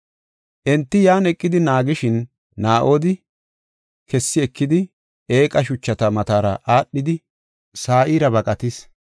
Enti yan eqidi naagishin, Naa7odi kessi ekidi eeqa shuchata matara aadhidi Sa7iira baqatis.